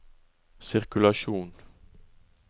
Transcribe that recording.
sirkulasjon